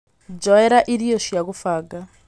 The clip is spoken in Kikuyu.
njoera irio cia gūfanga